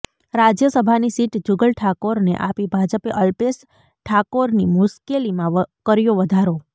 રાજ્યસભાની સીટ જુગલ ઠાકોરને આપી ભાજપે અલ્પેશ ઠાકોરની મુશ્કેલીમાં કર્યો વધારો